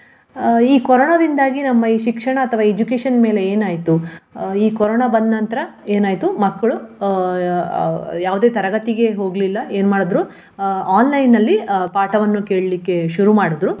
ಅಹ್ ಈ ಕೊರೋನಾದಿಂದಾಗಿ ನಮ್ಮ ಈ ಶಿಕ್ಷಣ ಅಥವಾ education ಮೇಲೆ ಏನಾಯ್ತು. ಅಹ್ ಈ ಕೊರೋನಾ ಬಂದ ನಂತರ ಏನಾಯ್ತು? ಮಕ್ಕಳು ಅಹ್ ಯಾವುದೇ ತರಗತಿಗೆ ಹೋಗ್ಲಿಲ್ಲ ಏನ್ ಮಾಡಿದ್ರು ಅಹ್ online ನಲ್ಲಿ ಪಾಠವನ್ನು ಕೇಳ್ಲಿಕ್ಕೆ ಶುರು ಮಾಡುದ್ರು.